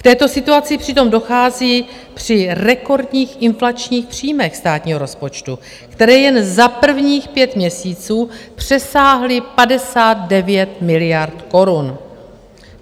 K této situaci přitom dochází při rekordních inflačních příjmech státního rozpočtu, které jen za prvních pět měsíců přesáhly 59 miliard korun.